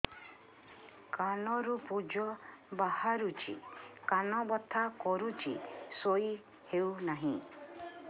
କାନ ରୁ ପୂଜ ବାହାରୁଛି କାନ ବଥା କରୁଛି ଶୋଇ ହେଉନାହିଁ